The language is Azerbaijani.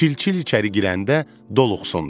Çil-çil içəri girəndə doluqsundu.